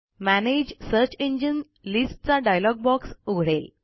manage search engine list चा dialog box उघडेल